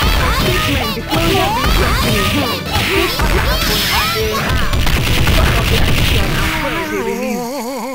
for statement di floridabased company um say fire happun as a um result of di allision and fuel dey released